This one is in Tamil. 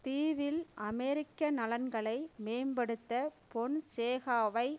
தீவில் அமெரிக்க நலன்களை மேம்படுத்த பொன்சேகாவை